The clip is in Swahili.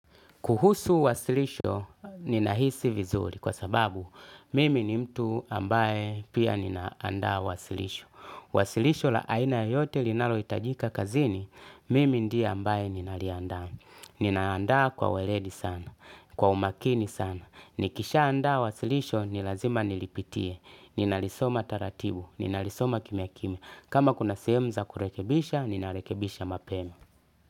Kuhusu wasilisho, ninahisi vizuri kwa sababu mimi ni mtu ambaye pia ninaandaa wasilisho. Wasilisho la aina yoyote linalohitajika kazini, mimi ndiye ambaye ninaliandaa. Ninaandaa kwa weredi sana, kwa umakini sana. Nikishaandaa wasilisho, ni lazima nilipitie. Ninalisoma taratibu, ninalisoma kimya kimya. Kama kuna sehemu za kurekebisha, ninarekebisha mapema.